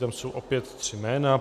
Tam jsou opět tři jména.